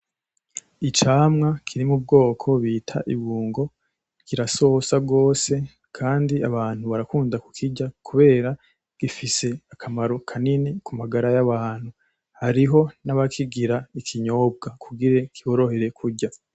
Icamwa kiri mubwoko bita ibungo kirasosa gose , Kandi abantu barakunda kukirya kubera gifise akamaro kanini kumagara yabantu , hariho nabakigira ikinyobwa kugira kiborohere kurya .